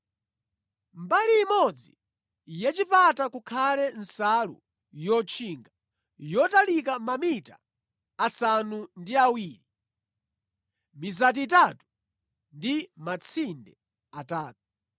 Mbali imodzi yachipata kukhale nsalu yotchinga yotalika mamita asanu ndi awiri, mizati itatu ndi matsinde atatu.